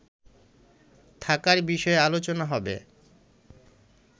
থাকার বিষয়ে আলোচনা হবে